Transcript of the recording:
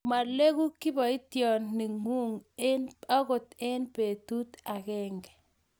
maleku kiboitionte ng'ung' akot eng' betut agenge.